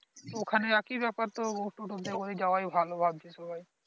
ওখানে এক ই বেপার টোটো তে করে এ যাওয়া ভালো ভাবছে সবাই